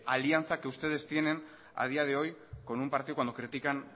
alianza que ustedes tienen a día de hoy con un partido cuando critican